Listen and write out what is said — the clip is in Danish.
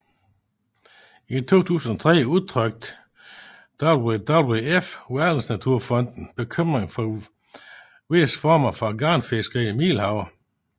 I 2003 udtrykte WWF Verdensnaturfonden bekymring for visse former for garnfiskeri i Middelhavet